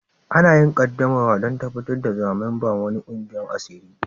Ana yin qaddamarwa dan tabatar da zama memba'n wani kwigiyan asiri.